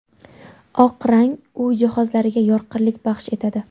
Oq rang uy jihozlariga yorqinlik baxsh etadi.